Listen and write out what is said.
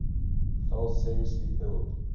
fell seriously ill